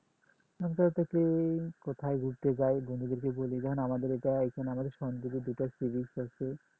মন খারাপ থাকলে কোথায় ঘুরতে যাই বন্ধুদের বলি কারণ আমাদের এইটাই এখানে দুইটা seabeach আছে